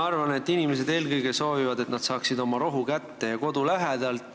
Ma arvan, et inimesed soovivad eelkõige seda, et nad saaksid oma rohu kätte kodu lähedalt.